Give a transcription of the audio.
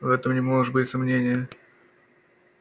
в этом не может быть сомнения